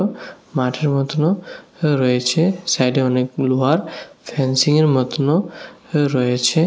মাঠের মতোনও রয়েছে সাইডে অনেকগুলো ঘর ফ্যানসিংয়ের মতোনও রয়েছে।